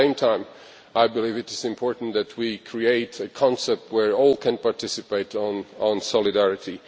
At the same time, I believe it is important that we create a concept whereby all can participate in solidarity.